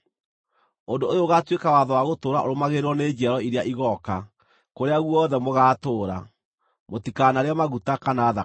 “ ‘Ũndũ ũyũ ũgaatuĩka watho wa gũtũũra ũrũmagĩrĩrwo nĩ njiaro iria igooka, kũrĩa guothe mũgaatũũra: Mũtikanarĩe maguta kana thakame.’ ”